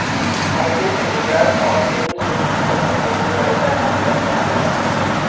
ہلکے اجزاء اور تیزی سے چلنے کے لئے بڑے پیمانے پر پہلو